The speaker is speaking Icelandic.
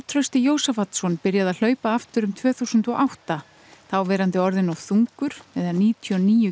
Trausti Jósafatsson byrjaði að hlaupa aftur um tvö þúsund og átta þá verandi orðinn of þungur eða níutíu og níu